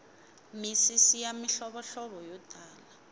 misisi ya mihlovohlovo yo tala